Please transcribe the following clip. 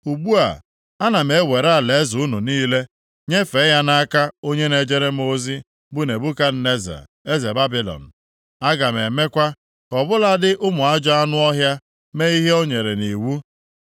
Ugbu a, ana m ewere alaeze unu niile nyefee ya nʼaka onye na-ejere m ozi bụ Nebukadneza eze Babilọn; aga m emekwa ka ọ bụladị ụmụ ajọ anụ ọhịa mee ihe o nyere nʼiwu.